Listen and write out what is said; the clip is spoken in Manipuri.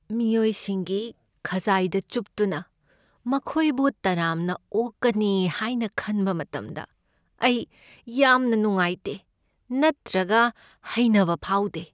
ꯃꯤꯌꯣꯏꯁꯤꯡꯒꯤ ꯈꯖꯥꯏꯗ ꯆꯨꯞꯇꯨꯅ ꯃꯈꯣꯏꯕꯨ ꯇꯔꯥꯝꯅ ꯑꯣꯛꯀꯅꯤ ꯍꯥꯏꯅ ꯈꯟꯕ ꯃꯇꯝꯗ ꯑꯩ ꯌꯥꯝꯅ ꯅꯨꯉꯥꯏꯇꯦ ꯅꯠꯇ꯭ꯔꯒ ꯍꯩꯅꯕ ꯐꯥꯎꯗꯦ꯫